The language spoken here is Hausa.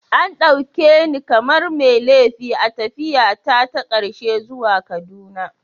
An dauke ni kamar mai laifi a tafiyata ta karshe zuwa Kaduna.